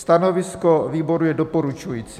Stanovisko výboru je doporučující.